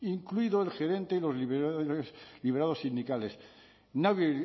incluidos el gerente y los liberados sindicales nadie